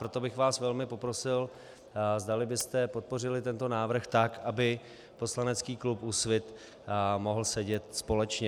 Proto bych vás velmi poprosil, zdali byste podpořili tento návrh tak, aby poslanecký klub Úsvit mohl sedět společně.